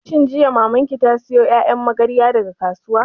Shin jiya Maman ki ta sayo ƴaƴan magaryan daga kasuwa?